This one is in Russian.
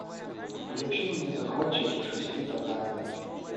включи мне захватчики шести татами